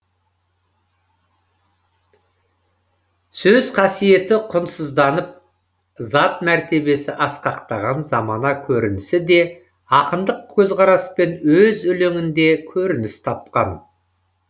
сөз қасиеті құнсызданып зат мәртебесі асқақтаған замана көрінісі де ақындық көзқараспен өз өлеңінде көрініс тапқан